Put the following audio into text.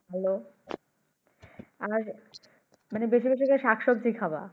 Hello মানে বেশি বেশি করে শাক সবজি খাবা।